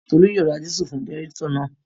Tolú yóò ra dísù fún jẹnẹrétọ̀ náà